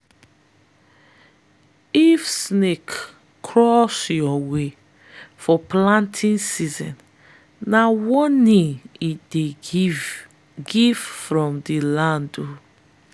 if snake cross your way for planting season na warning e dey give give from di land.